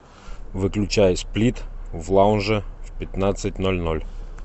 выключай сплит в лаунже в пятнадцать ноль ноль